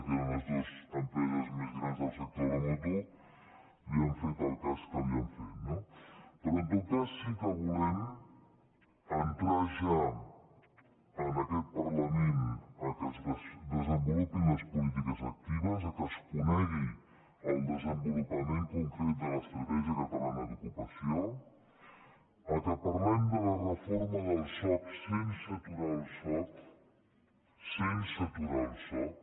que eren les dues empreses més grans del sector de la moto i li han fet el cas que li han fet no però en tot cas sí que volem entrar ja en aquest parla·ment que es desenvolupin les polítiques actives que es conegui el desenvolupament concret de l’estratè·gia catalana d’ocupació que parlem de la reforma del soc sense aturar el soc sense aturar el soc